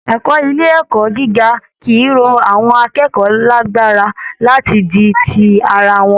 Ẹ̀kọ́ ilé ẹ̀kọ́ gíga kì í ró àwọn akẹ́kọ̀ọ́ lágbára láti di ti ara wọn